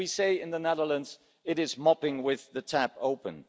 As we say in the Netherlands, it is mopping up with the tap open.